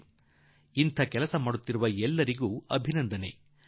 ಈ ತರಹದ ಕೆಲಸ ಮಾಡುತ್ತಿರುವ ದೇಶದ ಎಲ್ಲರಿಗೂ ನನ್ನ ಅಭಿನಂದನೆ